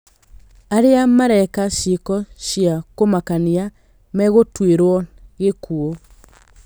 Arĩa mareka ciĩko cia kũmakania megũtuĩrwo gĩkuũ